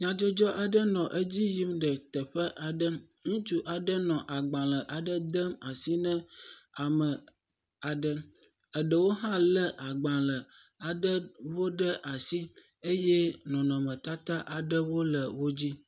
Nyɔnu ɖe le eƒe dzodƒe le nane nom. Nyɔnuvie le enu kom. Nyɔnuvie dzra eƒe dzoƒe ɖo nyuie. Eƒe gli le ʋi ya wo kɔ eƒe gatsi wo tsi ɖe aya me.